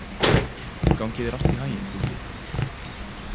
Gangi þér allt í haginn, Dúddi.